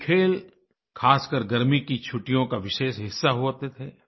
ये खेल ख़ासकर गर्मी की छुट्टियों का विशेष हिस्सा होते थे